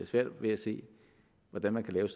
svært ved at se hvordan man lave